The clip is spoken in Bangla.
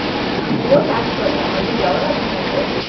ও চাষ করে আমার যে দেওর আছে নাকি